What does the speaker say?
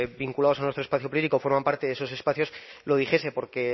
vinculados a nuestro espacio político forman parte de esos espacios lo dijese porque